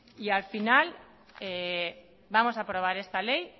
y al final vamos a aprobar esta ley